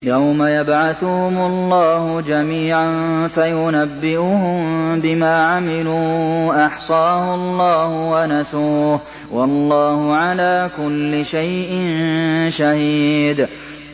يَوْمَ يَبْعَثُهُمُ اللَّهُ جَمِيعًا فَيُنَبِّئُهُم بِمَا عَمِلُوا ۚ أَحْصَاهُ اللَّهُ وَنَسُوهُ ۚ وَاللَّهُ عَلَىٰ كُلِّ شَيْءٍ شَهِيدٌ